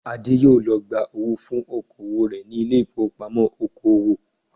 Adé yóò lọ gba owó fún oko òwò rẹ̀ ní ilé ìfowópamọ́ oko òwò